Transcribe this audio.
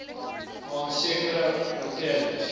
aan sekere oortredings